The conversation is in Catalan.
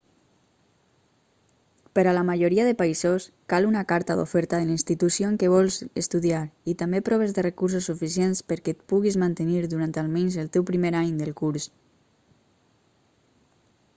per a la majoria de països cal una carta d'oferta de la institució en què vols estudiar i també proves de recursos suficients perquè et puguis mantenir durant almenys el teu primer any del curs